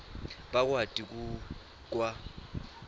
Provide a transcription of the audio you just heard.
bakwati ku kwa